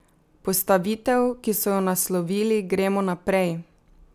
Postavitev, ki so jo naslovili Gremo naprej!